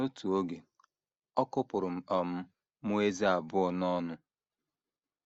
“ N’otu oge, ọ kụpụrụ um m ezé abụọ n’ọnụ.